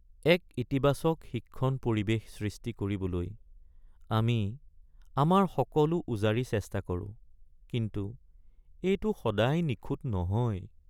এক ইতিবাচক শিক্ষণ পৰিৱেশ সৃষ্টি কৰিবলৈ আমি আমাৰ উজাৰি চেষ্টা কৰোঁ, কিন্তু এইটো সদায় নিখুঁত নহয়।